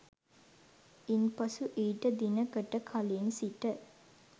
ඉන්පසු ඊට දින කට කලින් සිට